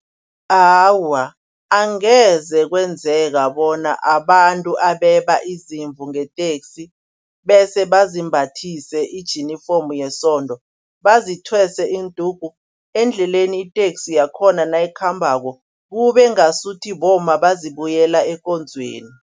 Awa angeze kwenzeka bona abantu abeba izimvu ngeteksi bese bazimbathe ijinifomu yesondo, bazithwese indugu. Endleleni iteksi yakhona nayikhambako kube ngasuthi bomma bazibuyela ekonzweni.